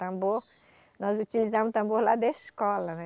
Tambor, nós utilizávamos tambor lá da escola, né?